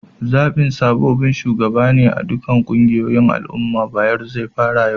Zabin sabobin shugabane a'ɗukan ƙungiyoyin al umman Bayero zai faru yau.